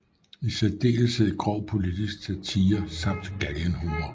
I særdeleshed grov politisk satire samt galgenhumor